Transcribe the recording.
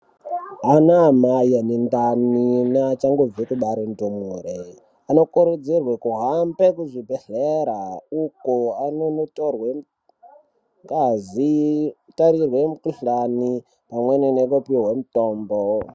Ana mai ane ndani achangobva kubarwa ndumure anokurudzirwa kuhamba kuzvibhedhlera uko anonditorwa ngazi kutarirwa mikuhlani pamweni nekupihwa mitombo.